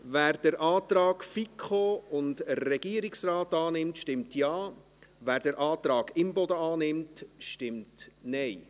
Wer den Antrag FiKo und Regierungsrat annimmt, stimmt Ja, wer den Antrag Imboden annimmt, stimmt Nein.